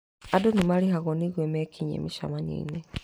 Andũ nĩmarĩhagwo nĩguo mekinyie mĩcemanioinĩ